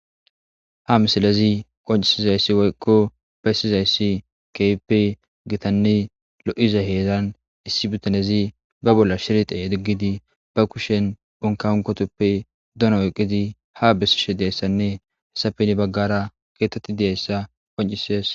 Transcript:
ha misalezi qoncisizayssi woykko beyssizayssi keyppe gitanni lo7iza heedan issi butanezi ba bolla shirte diggidi ba kushen unkaunkotoppe duna woyqqidi ha bessishe deessanne hesapeni baggara keetetti deeyssa qoncisies